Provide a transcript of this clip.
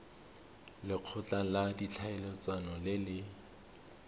lekgotla la ditlhaeletsano le le